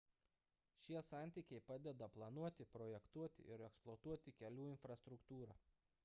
šie santykiai padeda planuoti projektuoti ir eksploatuoti kelių infrastruktūrą